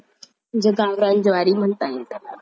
जे ज्वारी म्हणता